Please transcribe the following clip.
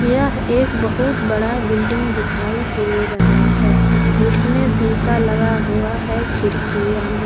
यह एक बहुत बड़ा बिल्डिंग दिखाई दे रहा है जिसमें शीशा लगा हुआ है खिड़कियां में।